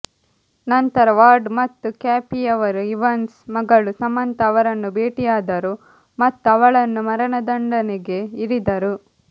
ನಂತರ ವಾರ್ಡ್ ಮತ್ತು ಕ್ಯಾಫಿಯವರು ಇವಾನ್ಸ್ ಮಗಳು ಸಮಂತಾ ಅವರನ್ನು ಬೇಟೆಯಾಡಿದರು ಮತ್ತು ಅವಳನ್ನು ಮರಣದಂಡನೆಗೆ ಇರಿದರು